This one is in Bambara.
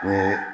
I ye